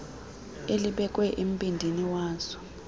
elibekwe embindini wazo